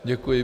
Děkuji.